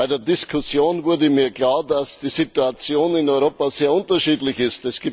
Bei der Diskussion wurde mir klar, dass die Situation in Europa sehr unterschiedlich ist.